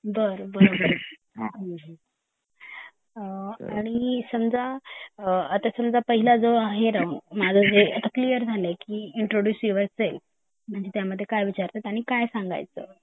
बरं बरं आणि समजा आता समजा पहिलं जो आहे राऊंड माझं जे क्लियर झाले की इंट्रड्यूस युर सेल्फ मध्ये काय विचारतात आणि काय सांगायच